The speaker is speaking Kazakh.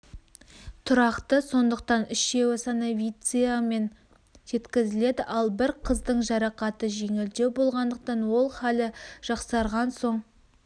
тұрақты сондықтан үшеуі санавициямен жеткізіледі ал бір қыздың жарақаты жеңілдеу болғандықтан ол халі жақсарған соң